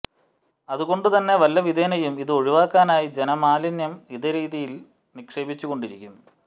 അതുകൊണ്ട് തന്നെ വല്ലവിധേനയെും ഇത് ഒഴിവാക്കാനായി ജനം മാലിന്യം ഇതേരീതിയിൽ നിക്ഷേപിച്ചുകൊണ്ടിരിക്കും